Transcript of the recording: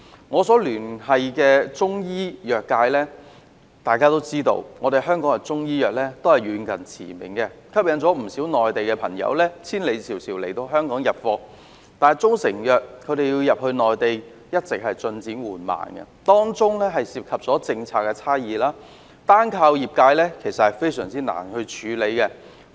我一直與中醫藥界保持聯繫，大家都知道，香港的中醫藥遠近馳名，吸引不少內地朋友千里迢迢來港入貨，但中成藥進入內地的進展十分緩慢，當中涉及政策差異，單靠業界難以處理。